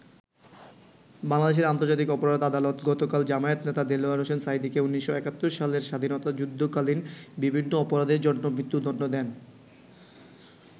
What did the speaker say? বাংলাদেশের আন্তর্জাতিক অপরাধ আদালত গতকাল জামায়াত নেতা দেলোয়ার হোসেন সাঈদীকে ১৯৭১ সালের স্বাধীনতাযুদ্ধকালীন বিভিন্ন অপরাধের জন্য মৃত্যুদন্ড দেন।